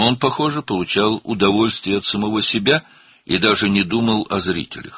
O, özündən zövq alırdı və hətta tamaşaçıları da düşünmürdü.